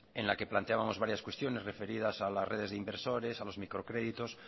en la que planteábamos varias cuestiones referidas a las redes de inversores a los microcréditos